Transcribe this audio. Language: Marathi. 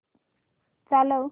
चालव